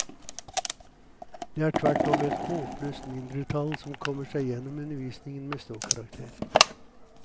Det er tvert om et håpløst mindretall som kommer seg gjennom undervisningen med ståkarakter.